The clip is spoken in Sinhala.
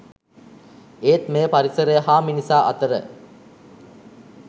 ඒත් මෙය පරිසරය හා මිනිසා අතර